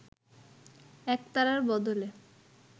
একতারার বদলে